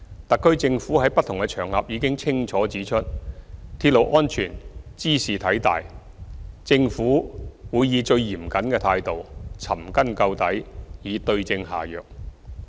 特區政府在不同場合已清楚指出，鐵路安全茲事體大，政府會以最嚴謹的態度，尋根究底，對症下藥。